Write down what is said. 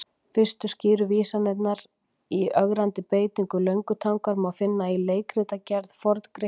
Fyrstu skýru vísanirnar í ögrandi beitingu löngutangar má finna í leikritagerð Forn-Grikkja.